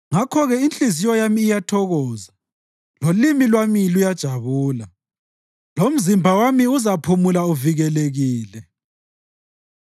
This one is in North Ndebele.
Ngakho-ke inhliziyo yami iyathokoza lolimi lwami luyajabula; lomzimba wami uzaphumula uvikelekile,